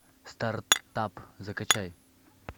стартап закачай